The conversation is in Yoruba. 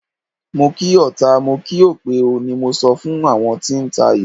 Mo kí ọta, mo kí òpè o, ni mo sọ fún àwọn tí ń tayò.